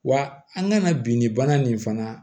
Wa an kana bin ni bana nin fana